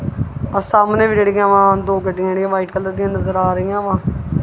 ਆਹ ਸਾਹਮਣੇ ਵੀ ਜਿਹੜੀਆਂ ਦੋ ਗੱਡੀਆਂ ਜਿਹੜੀਆਂ ਵਾਈਟ ਕਲਰ ਦੀਆਂ ਨਜ਼ਰ ਆ ਰਹੀਆਂ ਵਾ।